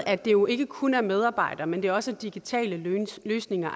at det jo ikke kun er medarbejdere men at det også er digitale løsninger